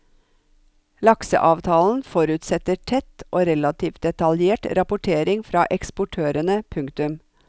Lakseavtalen forutsetter tett og relativt detaljert rapportering fra eksportørene. punktum